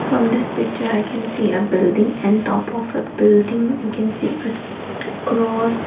from this picture i can see a building and top of a building i can see a cross.